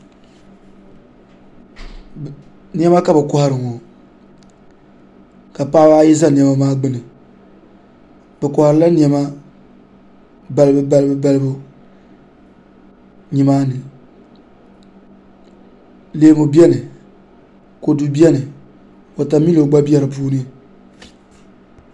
Niɛma ka bi kohari ŋo ka paɣaba ayi ʒɛ niɛma maa gbuni bi koharila niɛma balibu balibu nimaani leemu biɛni kodu biɛni wotamilo gba bɛ di puuni